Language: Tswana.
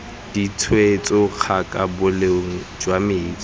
ditshwetso kaga boleng jwa metsi